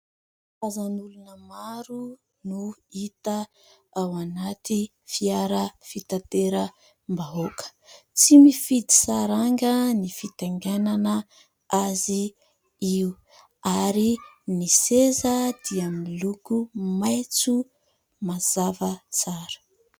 Olona maro no hita ao anaty fiara fitateram-bahoaka. Tsy mifidy saranga ny fitaingenana azy io ary ny seza dia miloko maitso mazava tsara.